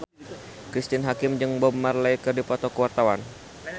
Cristine Hakim jeung Bob Marley keur dipoto ku wartawan